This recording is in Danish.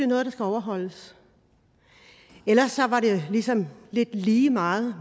noget der skal overholdes ellers var det sådan lidt lige meget